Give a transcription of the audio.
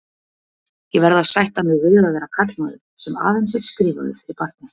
Ég verð að sætta mig við að vera karlmaður, sem aðeins er skrifaður fyrir barni.